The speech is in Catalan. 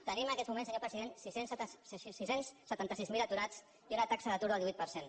tenim en aquests moments senyor president sis cents i setanta sis mil aturats i una taxa d’atur del divuit per cent